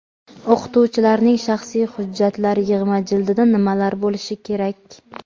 O‘qituvchilarning shaxsiy hujjatlar yig‘ma jildida nimalar bo‘lishi kerak?.